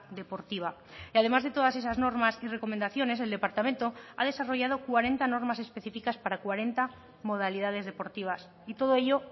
deportiva y además de todas esas normas y recomendaciones el departamento ha desarrollado cuarenta normas específicas para cuarenta modalidades deportivas y todo ello